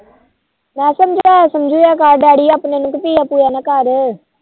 ਮੈ ਸਮਜਾਇਆ ਕਰ daddy ਆਪਣੇ ਨੂੰ ਪੀਆ ਪੂਆ ਨਾ ਕਰ